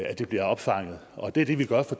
det bliver opfanget og det er det vi gør fra